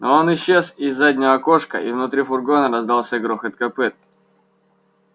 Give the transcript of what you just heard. но он исчез из заднего окошка и внутри фургона раздался грохот копыт